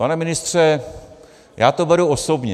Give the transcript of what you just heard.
Pane ministře, já to beru osobně.